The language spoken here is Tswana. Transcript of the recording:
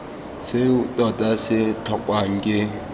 seo tota se tlhokwang ke